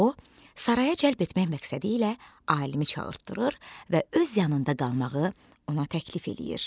O saraya cəlb etmək məqsədi ilə alimi çağırdırır və öz yanında qalmağı ona təklif eləyir.